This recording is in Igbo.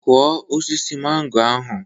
Kụọ osisi mango ahụ.